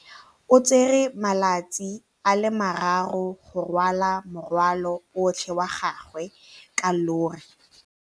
O tsere malatsi a le marraro go rwala morwalo otlhe wa gagwe ka llori.